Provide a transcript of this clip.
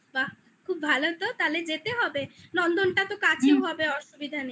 বাহ বাহ খুব ভালো তো তাহলে যেতে হবে নন্দনটা তো কাছেও হুম হবে অসুবিধা নেই